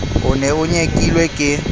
o ne o nyekilwe ke